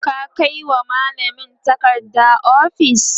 ka Kai wa mallamin takarda ofis?